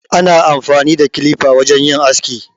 Ana amfani da kilifa wurin yin aski.